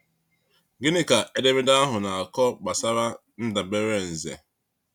Gịnị ka edemede ahụ na-akọ gbasara ndabere Nze?